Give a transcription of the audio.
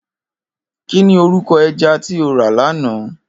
Kini órúkò èjà ti ó rá làná?